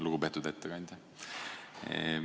Lugupeetud ettekandja!